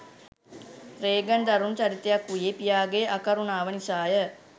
Reagan දරුණු චරිතයක් වූයේ පියාගේ අකරුණාව නිසාය.